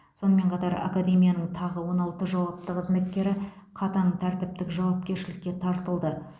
сонымен қатар академияның тағы он алты жауапты қызметкері қатаң тәртіптік жауапкершілікке тартылды